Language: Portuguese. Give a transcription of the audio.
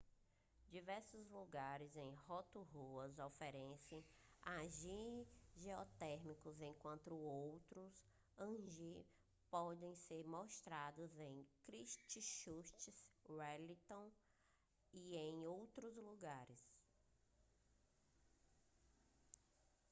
diversos lugares em rotorua oferecem hangi geotérmico enquanto outros hangi podem ser amostrados em christchurch wellington e em outros lugares